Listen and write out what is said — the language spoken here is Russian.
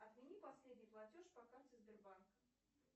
отмени последний платеж по карте сбербанк